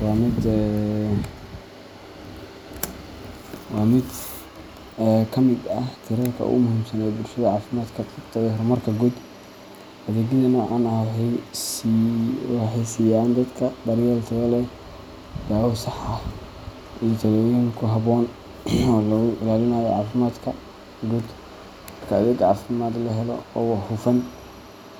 waa mid ka mid ah tiirarka ugu muhiimsan ee bulshada caafimaadka qabta iyo horumarka guud. Adeegyada noocan ah waxay siiyaan dadka daryeel tayo leh, daawo sax ah, iyo talooyin ku habboon oo lagu ilaalinayo caafimaadka guud. Marka adeeg caafimaad la helo oo hufan,